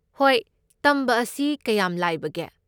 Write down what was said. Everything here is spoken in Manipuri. ꯍꯣꯏ, ꯇꯝꯕ ꯑꯁꯤ ꯀꯌꯥꯝ ꯂꯥꯏꯕꯒꯦ?